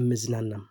እምዝናናም።